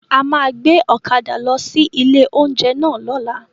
A máa gbé ọ̀kadà lọ sí ilé oúnjẹ náà lọ́la